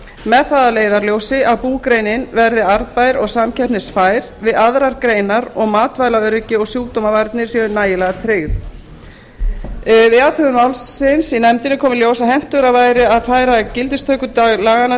með það að leiðarljósi að búgreinin verði arðbær og samkeppnisfær við aðrar greinar og matvælaöryggi og sjúkdómavarnir séu nægilega tryggð við athugun málsins í nefndinni kom í ljós að hentugra væri að færa gildistökudag laganna